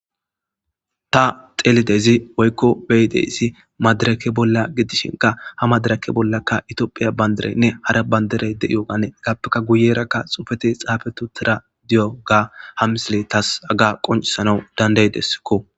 ta xeelidezi woykko beyi deyssi madirake bolla gidishinka ha madirake bollaka itoophiya bandiraynne hara baynderey de7iyo ganee gappeka guyerakka xufeti xaafetu tira diyo gaa ha misile taas aga qoncisanawu danday dessakko